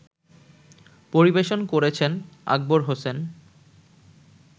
পরিবেশন করেছেন আকবর হোসেন